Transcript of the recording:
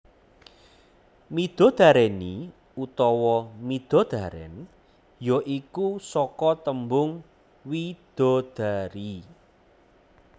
Midodareni utawa midodaren ya iku saka tembung widadari